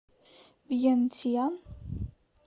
вьентьян